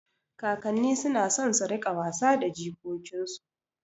Kakanni suna son su riƙa wasa da jikokinsu